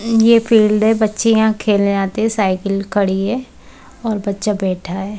यह फील्ड है। बच्चे यहा खेलने आते है। साइकिल खड़ी है और बच्चा बैठा है।